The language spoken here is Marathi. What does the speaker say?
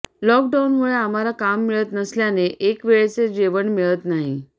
लॉकडाऊनमुळे आम्हाला काम मिळत नसल्याने एकवेळचे जेवण मिळत नाही